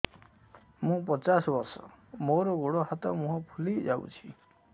ମୁ ପଚାଶ ବର୍ଷ ମୋର ଗୋଡ ହାତ ମୁହଁ ଫୁଲି ଯାଉଛି